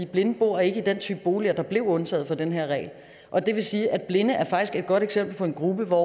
blinde bor ikke i den type boliger der blev undtaget for den her regel og det vil sige at blinde faktisk er et godt eksempel på en gruppe for